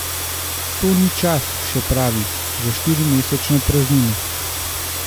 To ni čas, še pravi, za štirimesečno praznino.